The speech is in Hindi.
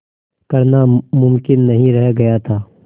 करना मुमकिन नहीं रह गया था